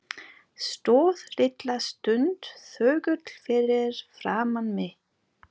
Stóð litla stund þögull fyrir framan mig.